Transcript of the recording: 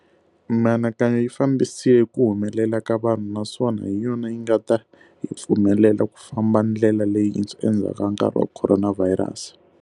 Mianakanyo yi fambisile ku humelela ka vanhu naswona hi yona yinga ta hi pfumelela ku famba ndlela leyintshwa endzhaku ka nkarhi wa khoronavhayirasi.